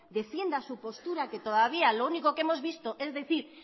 defienda su postura que todavía lo único que hemos visto es decir